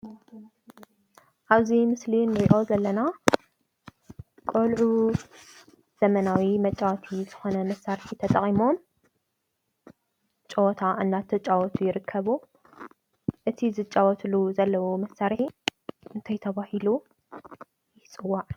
እብዚ ምስሊ እንሪኦ ዘለና ቆልዑ ዘመናዊ መፃወቲ ዝኮነ መሳርሒ ተጠቂሞም ጨወታ እናተጫወቱ ይርከቡ። እቲ ዝጫወትሉ ዘለው መሳርሒ እንታይ ተባሂሉ ይፅዋዕ?